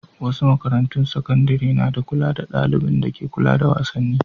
Wasu makarantun sakandare na da ɗalibin dake kula da wasanni.